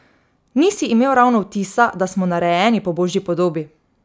Nisi imel ravno vtisa, da smo narejeni po božji podobi.